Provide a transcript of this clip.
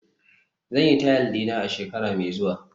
zan yi tile dina a shekara mai zuwa